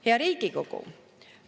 Hea Riigikogu!